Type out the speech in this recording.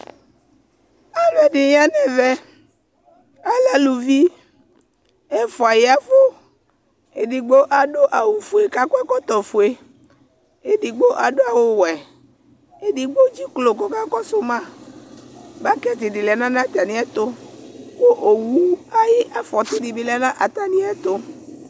Aluɛdi ya nu ɛvɛ alɛ eluvi ɛfua yavu edigbo adu awu fue ku akɔ ɛkɔtɔ ɔvɛ edigbo adu awu wɛ edigbo edziklo ku ɔkakɔsu ma bɔkiti di lɛ nu atamiɛtu owu ayu afɔti dibi lɛ nu atamiɛtu